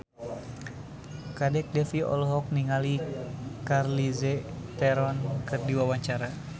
Kadek Devi olohok ningali Charlize Theron keur diwawancara